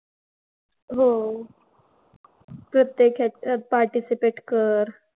हो. प्रत्येक ह्याच्यात participate कर.